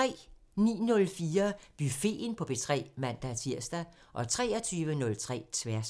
09:04: Buffeten på P3 (man-tir) 23:03: Tværs